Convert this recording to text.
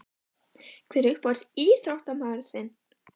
Hver er uppáhalds ÍÞRÓTTAMAÐURINN þinn?